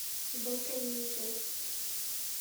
балканизер